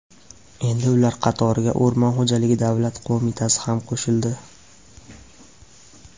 Endi ular qatoriga O‘rmon xo‘jaligi davlat qo‘mitasi ham qo‘shildi.